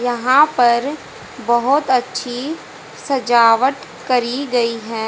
यहां पर बहोत अच्छी सजावट करी गई है।